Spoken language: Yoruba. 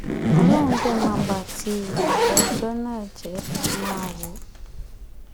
ọlọ́run dé máa bá ti ìyàbọ̀ ọjọ́ náà jẹ́ máa wò ó